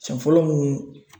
Sen fɔlɔ mun